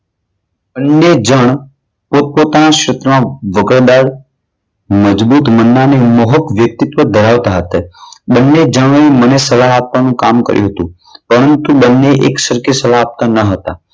બંને જણ પોતપોતાના સ્વપ્નો વક્રદાર મજબૂત મનના અને મોહક વ્યક્તિત્વ ધરાવતા હતા. બંને જણોએ મને સલાહ આપવાનું કામ કર્યું હતું. પરંતુ બંને એક સરખી સલાહ આપતા ન હતા.